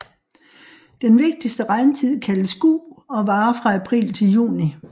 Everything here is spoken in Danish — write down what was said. Den vigtigste regntid kaldes Gu og varer fra april til juni